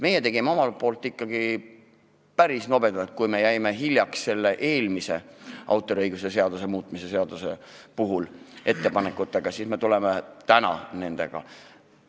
Meie tegime ikkagi päris nobedalt: kui me jäime hiljaks selle eelmise autoriõiguse seaduse muutmise seaduse ettepanekutega, siis me tuleme nendega täna.